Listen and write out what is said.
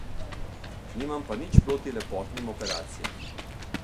Nimam pa nič proti lepotnim operacijam.